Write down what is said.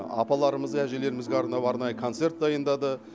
апаларымыз әжелерімізге арнап арнайы концерт дайындады